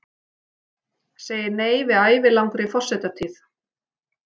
Segir nei við ævilangri forsetatíð